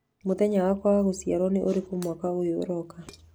Mũthenya wakwa wa gũciarwo nĩ ũrĩkũ mwaka ũyũ ũroka?